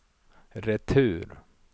retur